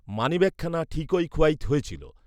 মানিব্যাগখানা ঠিকই খুয়াইত হয়েছিল